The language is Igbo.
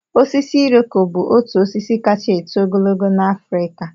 Osisi iroko bụ otu osisi kacha eto ogologo n'Afrịka